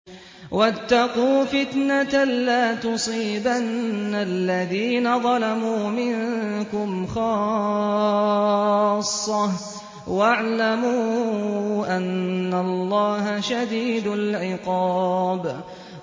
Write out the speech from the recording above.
وَاتَّقُوا فِتْنَةً لَّا تُصِيبَنَّ الَّذِينَ ظَلَمُوا مِنكُمْ خَاصَّةً ۖ وَاعْلَمُوا أَنَّ اللَّهَ شَدِيدُ الْعِقَابِ